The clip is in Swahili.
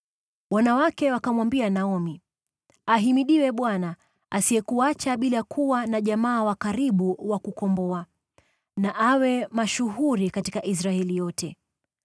Wanawake wakamwambia Naomi: “Ahimidiwe Bwana , asiyekuacha bila kuwa na jamaa wa karibu wa kukomboa. Na awe mashuhuri katika Israeli yote!